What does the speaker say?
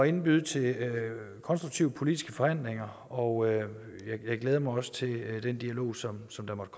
indbyde til konstruktive politiske forhandlinger og jeg glæder mig også til den dialog som som der måtte